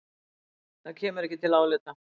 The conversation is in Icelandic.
Það kemur ekki til álita.